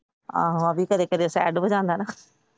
ਆਹੋ ਅਭੀ ਕਦੇ ਕਦੇ Sad ਵੀ ਲਾਉਂਦਾ ਨਾ।